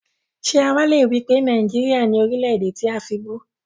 Ṣé àwá le wípé Nàìjíríà ni Orílè-èdè tí a fibú?